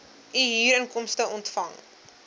u huurinkomste ontvang